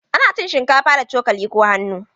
Ana cin shinkafa da cokali ko hannu.